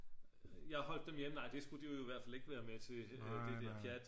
jeg holdt dem hjemme nej det skulle de jo i hvert fald ikke været med til det der pjat